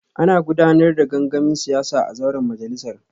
Ana gudanar da gangamin siyasa a zauren majalisar